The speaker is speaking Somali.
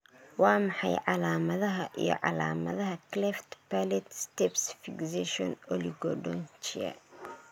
Waa maxay calaamadaha iyo calaamadaha Cleft palate stapes fixation oligodontia?